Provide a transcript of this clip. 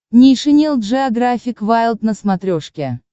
нейшенел джеографик вайлд на смотрешке